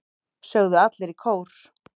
sögðu allir í kór.